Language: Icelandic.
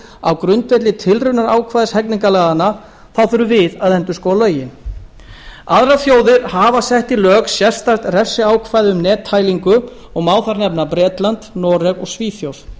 á grundvelli tilraunarákvæðis hegningarlaganna þá þurfum við að endurskoða lögin aðrar þjóðir hafa sett í lög sérstakt refsiákvæði um nettælingu og má þar nefna bretland noreg og svíþjóð